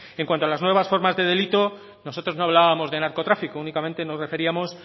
en cuanto a las nuevas formas de delito nosotros no hablábamos de narcotráfico únicamente nos referíamos